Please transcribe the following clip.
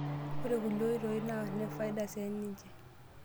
Ore kulie oitoi naa nefaida siininje.